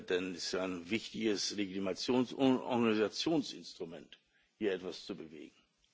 Denn es ist ein wichtiges Legitimations und Organisationsinstrument, hier etwas zu bewegen.